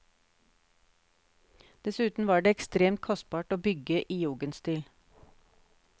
Dessuten var det ekstremt kostbart å bygge i jugendstil.